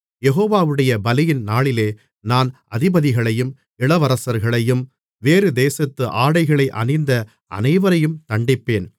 யெகோவாவுடைய பலியின் நாளிலே நான் அதிபதிகளையும் இளவரசர்களையும் வேறுதேசத்து ஆடைகளை அணிந்த அனைவரையும் தண்டிப்பேன்